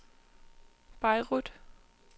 Beirut